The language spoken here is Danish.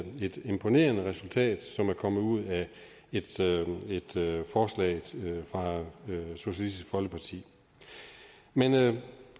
et imponerende resultat som er kommet ud af et forslag fra socialistisk folkeparti men